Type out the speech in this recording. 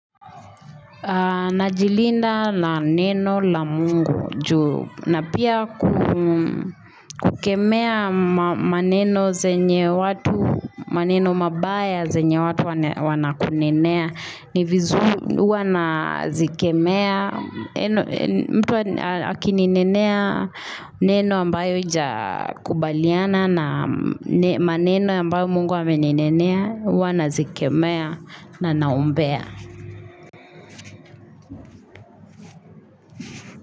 Najilinda na neno la Mungu juu na pia kukemea maneno zenye watu, maneno mabaya zenye watu wanakunenea. Ni vizu huwa nazikemea, mtu akinenea neno ambayo haijakubaliana na maneno ambayo mungu ameninenea, huwa nazikemea na naombea.